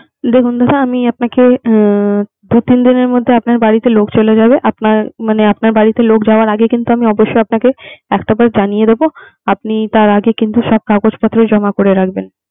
দেখুন দাদা আমি আপনাকে আহ দু-তিন দিনের মধ্যে আপনার বাড়িতে লোক চলে যাবে। আপনার মানে আপনার বাড়িতে লোক যাওয়ার আগে কিন্তু আমি অবশ্যই আপনাকে একটাবার জানিয়ে দিবো। আপনি তার আগে ‍কিন্তু সব কাগজ পত্র জমা করে রাখবেন